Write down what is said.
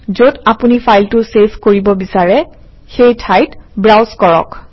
যত আপুনি ফাইলটো চেভ কৰিব বিচাৰে সেই ঠাই ব্ৰাউজ কৰক